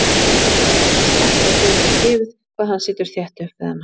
Henni virðist ekkert um það gefið hvað hann situr þétt upp við hana.